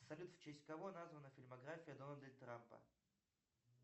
салют в честь кого названа фильмография дональда трампа